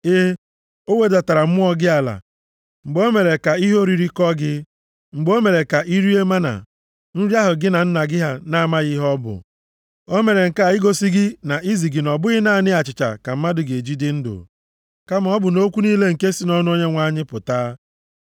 E, o wedatara mmụọ gị ala mgbe o mere ka ihe oriri kọ gị, mgbe o mere ka i rie mánà, nri ahụ gị na nna gị na-amaghị ihe ọ bụ. O mere nke a igosi gị na izi gị na ọ bụghị naanị achịcha ka mmadụ ga-eji dị ndụ, kama ọ bụ nʼokwu niile nke si nʼọnụ Onyenwe anyị pụta.